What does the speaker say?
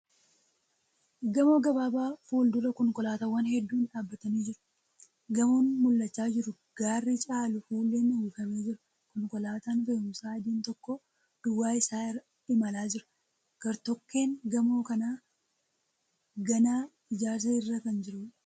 Gamooo gabaabaa fuuldura konkolaataawwan hedduun dhaabbatanii jiru. Gamoon mul'achaa jiru garri caalu fuulleen uwwifamee jira .Konkolaataan fe'umsaa adiin tokko duwwaa isaa imalaa jira. Gartokkeeb gamoo kanaa ganaa ijaarsa irra kan jiruudha.